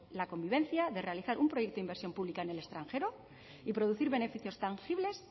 la convivencia de realizar un proyecto e inversión pública en el extranjero y producir beneficios tangibles